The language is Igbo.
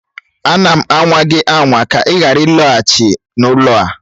Ana m anwa gị anwa ka ị ghara ịlaghachi n'ụlọ a